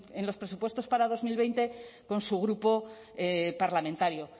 en los presupuestos para dos mil veinte con su grupo parlamentario